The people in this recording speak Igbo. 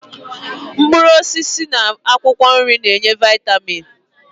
Mkpụrụosisi na akwụkwọ nri na-enye vaịtamin